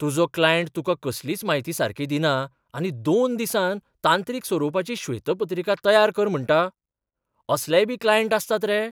तुजो क्लायंट तुका कसलीच म्हायती सारकी दिना आनी दोन दिसांत तांत्रीक स्वरुपाची श्वेतपत्रिका तयार कर म्हणटा. असलेयबी क्लायंट आसतात रे?